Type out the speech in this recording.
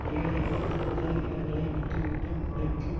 ஏழைகள் தங்கள் நிலங்களை விட்டு விட்டு முளைக்கும்